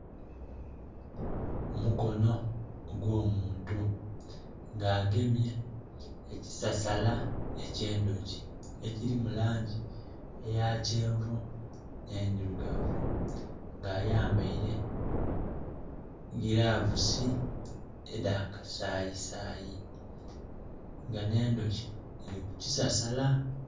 Omukono ogwo muntu nga agemye ekisasala ekye ndhuki ekili mulangi eya kyenvu ne ndhirugavu nga ayambeire gilavusi edha kasayi sayi nga ne ndhoki dhiri ku kisasala.